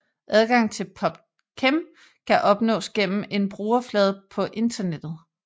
Adgang til PubChem kan opnås igennem en brugerflade på internettet